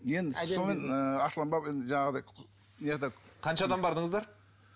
қанша адам бардыңыздар